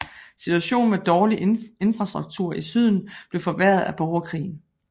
Situationen med dårlig infrastruktur i Syden blev forværret af borgerkrigen